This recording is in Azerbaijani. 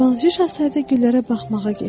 Balaca şahzadə güllərə baxmağa getdi.